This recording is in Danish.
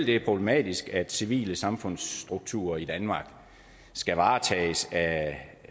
det er problematisk at civile samfundsstrukturer i danmark skal varetages af